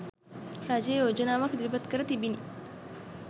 රජය යෝජනාවක් ඉදිරිපත් කර තිබිණි.